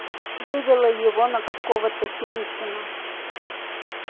вывело его на какого-то синицына